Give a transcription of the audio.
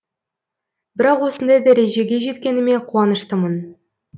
бірақ осындай дәрежеге жеткеніме қуаныштымын